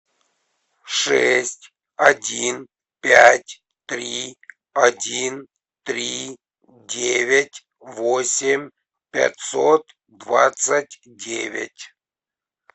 шесть один пять три один три девять восемь пятьсот двадцать девять